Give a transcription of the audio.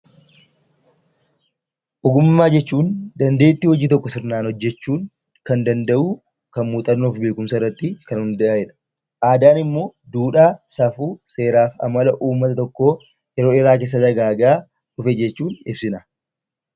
Ogummaa jechuun dandeettii hojii tokko sirnaan hojjechuu kan danda’u, muuxannoo fi beekumsa irratti kan hundaa'edha. Aadaan immoo duudhaa, safuu, seeraaf amala uummata tokkoo yeroo dheeraa keessa dagaagaa dhufe jechuun ibsina.